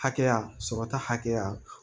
Hakɛya sɔrɔta hakɛya